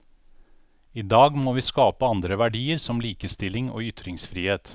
I dag må vi skape andre verdier, som likestilling og ytringsfrihet.